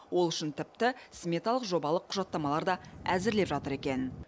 ол үшін тіпті сметалық жобалық құжаттамалар да әзірлеп жатыр екен